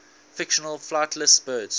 fictional flightless birds